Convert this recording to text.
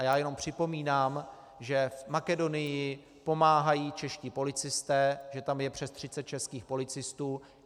A já jenom připomínám, že v Makedonii pomáhají čeští policisté, že tam je přes 30 českých policistů.